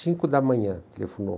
Cinco da manhã, telefonou.